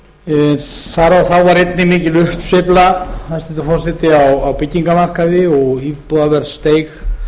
ár þá var einnig mikil uppsveifla hæstvirtur forseti á byggingarmarkaði og íbúðaverð steig